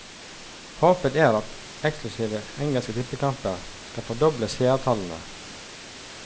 Håpet er at eksklusive engelske tippekamper skal fordoble seertallene.